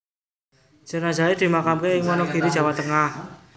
Jenazahe dimakamke ing Wonogiri Jawa Tengah